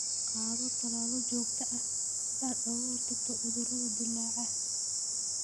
Qaado tallaalo joogto ah si aad uga hortagto cudurrada dillaaca.